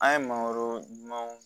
An ye mangoro ɲumanw